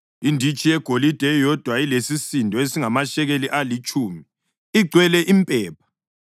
inditshi yegolide eyodwa elesisindo esingamashekeli alitshumi, igcwele impepha;